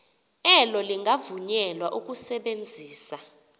elo lingavunyelwa ukusebenzisa